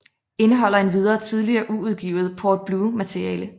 Indeholder endvidere tidligere uudgivet Port Blue materiale